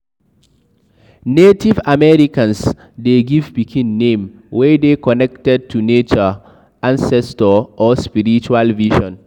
Native americans de give pikin name wey dey connected to nature, ancestor or spiritual vision